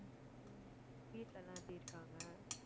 வீட்ல எல்லாம் எப்படி இருக்காங்க?